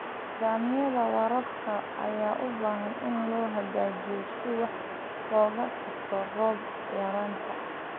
Nidaamyada waraabka ayaa u baahan in la hagaajiyo si wax looga qabto roob yaraanta.